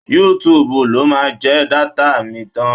Yútúuùbù ló máa jẹ dátà mi tán.